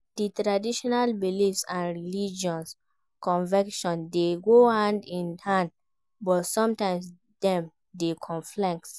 Di traditional beliefs and religious convictions dey go hand in hand, but sometimes dem dey conflict.